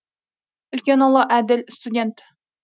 үлкен ұлы әділ студент